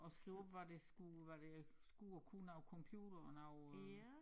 Og skrive hvad det skulle hvad det skulle og kunne og computeren og øh